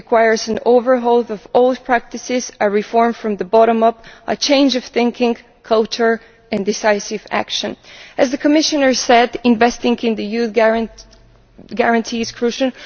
It requires an overhaul of old practices, a reform from the bottom up, a change of thinking, culture and decisive action. As the Commissioner said, investing in the Youth Guarantee is crucial.